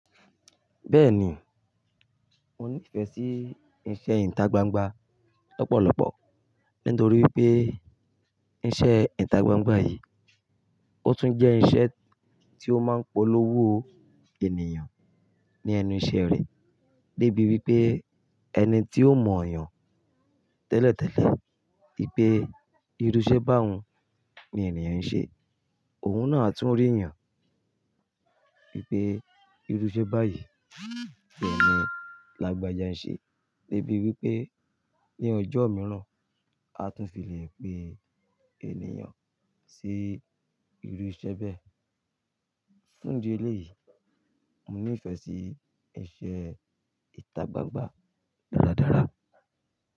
Bẹ́ẹ̀ni, mo ní ìfẹ́ sí iṣẹ́ ìta gbangba lọ́pọ̀lọpọ̀. Nítorí pé iṣẹ́ ìta gbangba yìí, ó tún jẹ́ iṣẹ́ tí ó máa ń polówó ènìyàn ní ẹnu iṣẹ́ rẹ̀. Débi wípé ẹni tí ó mọ̀ yàn tẹ́lẹ̀tẹ́lẹ̀ wìpè ìrú ṣẹ́ bá un ni ènìyàn ń ṣe. Òun náà a tún rí yàn wípé ìrú ṣẹ́ báyìí ò ní lágbára ṣe. Débi wípé ní ọjọ́ mìíràn, a tún fi lè pe ènìyàn sí ìrú ṣẹ́ bẹ́ẹ̀. Fún di eléyìí, mo ní ìfẹ́ sí iṣẹ́ ìta gbangba dáradára.